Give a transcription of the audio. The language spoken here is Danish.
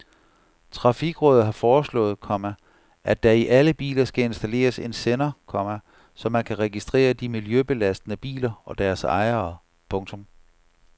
Trafikrådet har foreslået, komma at der i alle biler skal installeres en sender, komma så man kan registrere de miljøbelastende biler og deres ejere. punktum